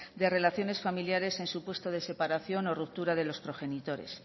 de relaciones familiares en supuesto de separación o ruptura de los progenitores